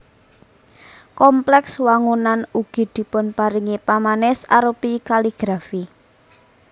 Kompleks wangunan ugi dipunparingi pamanis arupi kaligrafi